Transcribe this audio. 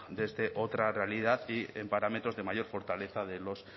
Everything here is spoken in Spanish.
desde otra realidad y en parámetros de mayor fortaleza de los